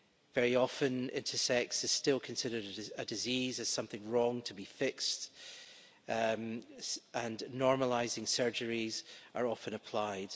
Very often intersex is still considered as a disease, as something wrong, to be fixed, and normalising' surgery is often applied.